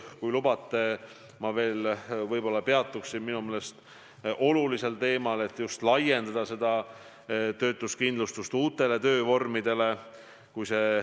Kui lubate, peatun veel kord olulisel teemal, et me soovime laiendada töötuskindlustust uutele töövormidele.